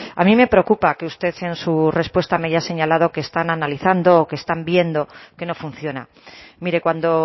a mí preocupa que usted en su respuesta me haya señalado que están analizando o que están viendo que no funciona mire cuando